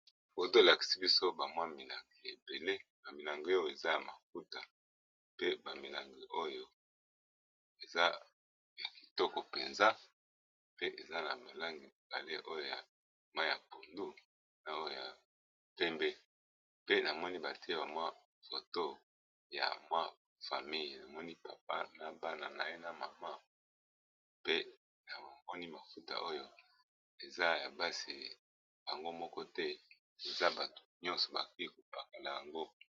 Foto balakisi biso bamwa milangi ebele ba milangi oyo eza ya mafuta, pe bamilangi oyo eza na kitoko mpenza, pe eza na malangi bale oyo ya mayi ya pondu, na oyo ya pembe pe namoni batiye bamwa foto ya mwa famille emoni papa na bana na ye na mama, pe na bamoni mafuta oyo eza ya basi bango moko te, eza bato nyonso bakoki kopakola yango.